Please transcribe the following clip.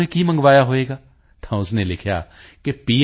ਨੇ ਕੀ ਮੰਗਵਾਇਆ ਹੋਵੇਗਾ ਤਾਂ ਉਸ ਨੇ ਲਿਖਿਆ ਹੈ ਕਿ ਪੀ